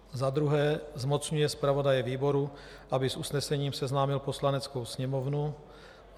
Za druhé, zmocňuje zpravodaje výboru, aby s usnesením seznámil Poslaneckou sněmovnu.